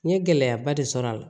N ye gɛlɛyaba de sɔrɔ a la